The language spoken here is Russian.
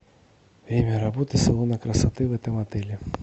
время работы салона красоты в этом отеле